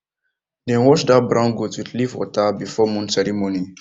dem wash that brown goat with leaf water before moon ceremony